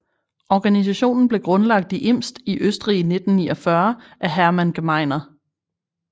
Organisationen blev grundlagt i Imst i Østrig i 1949 af Hermann Gmeiner